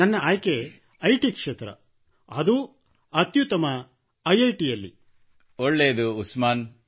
ನನ್ನ ಆಯ್ಕೆ I T ಕ್ಷೇತ್ರ ಅತ್ಯುತ್ತಮಮ ಐಐಟಿ ನಲ್ಲಿ ಮೋದಿ ಒಳ್ಳೆಯದು ಉಸ್ಮಾನ್